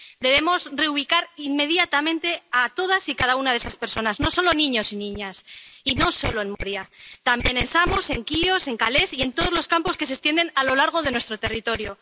Debemos reubicar inmediatamente a todas y cada una de esas personas, no solo a niños y niñas, y no solo de Moria, también en Samos, en Quíos, en Calais y en todos los campos que se extienden a lo largo de nuestro territorio.